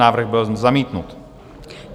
Návrh byl zamítnut.